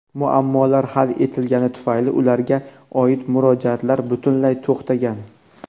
muammolar hal etilgani tufayli ularga oid murojaatlar butunlay to‘xtagan.